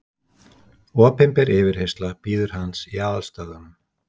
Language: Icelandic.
Opinber yfirheyrsla bíður hans í aðalstöðvunum.